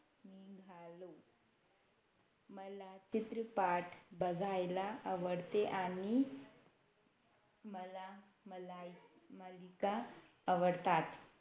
मला चित्रपाट बघायला आवडते आणि मला मलाय मालिका आवडतात